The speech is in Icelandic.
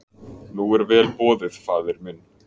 Nú er vel boðið faðir minn.